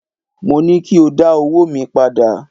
Mo ní kí o dá owóò mi padà!